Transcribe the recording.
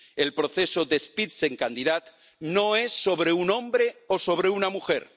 El proceso del Spitzenkandidat no es sobre un hombre o sobre una mujer.